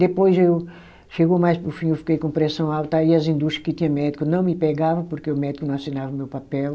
Depois eu, chegou mais para o fim, eu fiquei com pressão alta, aí as indústria que tinha médico não me pegava porque o médico não assinava o meu papel.